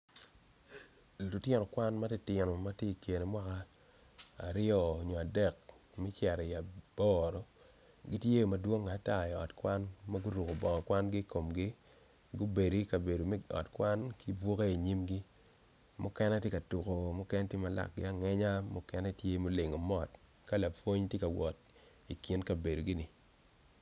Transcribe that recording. Lutino kwan matitino matye ikine mwaka aryo nyo adek me cito i aboro gitye o madwongo atar i ot kwan maguruko bongo kwangi ikomgi gubedo ikabedo me ot kwan ki buke inyimgi mukene tye ka tuko mukene ki lakgi angeya mukene tye mulingo mot ka lapwony tye ka wot ki kabedogi ni.